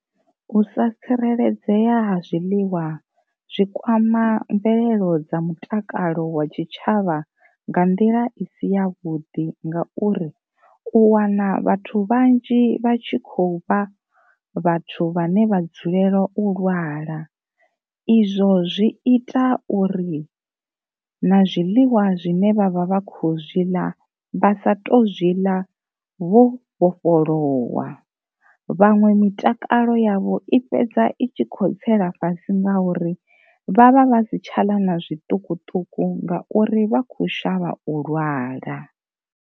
U sa tsireledzea ha zwiliwa zwikwama mvelelo dza mutakalo wa tshi tshavha nga nḓila i si ya vhuḓi ngauri, u wana vhathu vhanzhi vha tshi khou vha vhathu vhane vha dzulela u lwala, izwo zwi ita uri na zwiḽiwa zwine vha vha vha kho zwiḽa vha sa tu zwi ḽa vho vhofholowa, vhaṅwe mitakalo yavho i fhedza itshi kho tsela fhasi ngauri vha vha vha si tshaḽa na zwiṱukuṱuku ngauri vha kho shavha u lwala.